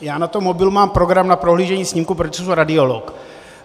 Já na tom mobilu mám program na prohlížení snímků, protože jsem radiolog.